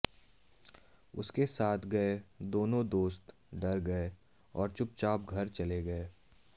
उसके साथ गए दोनों दोस्त डर गये और चुपचाप घर चले गये